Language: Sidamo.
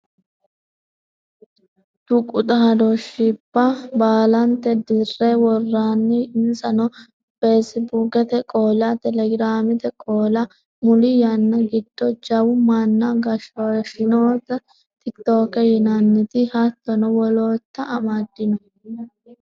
Tuqu xaadooshshibba baalanta dirre worroonni insano Facebookete qoola telegramte qoola muli yqnna giddo jawa manna goshooshshinota tik tok yinannita hattono wolootta amaddino.